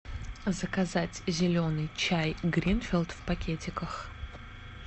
заказать зеленый чай гринфилд в пакетиках